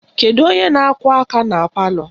Kedu onye na-akụ aka na palọ?